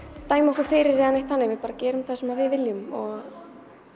dæma okkur fyrir eða neitt þannig við bara gerum það sem við viljum og